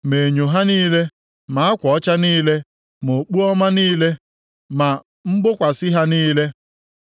ma enyo ha niile, ma akwa ọcha niile, ma okpu ọma niile, ma mgbokwasị ha niile.